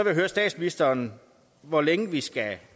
jeg høre statsministeren hvor længe skal